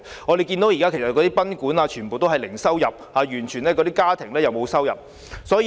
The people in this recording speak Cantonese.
我們看到現時賓館全部都是零收入，連家庭也是沒有收入。